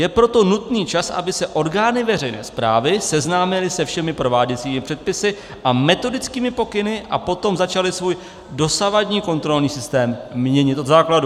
Je proto nutný čas, aby se orgány veřejné správy seznámily se všemi prováděcími předpisy a metodickými pokyny a potom začaly svůj dosavadní kontrolní systém měnit od základu.